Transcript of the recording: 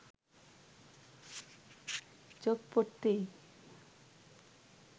চোখ পড়তেই